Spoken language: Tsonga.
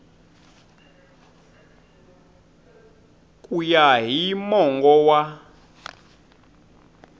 ku ya hi mongo wa